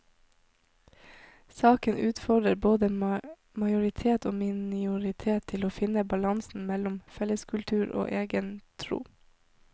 Saka utfordrar både majoritet og minoritet til å finne balansen mellom felleskultur og eigen tru.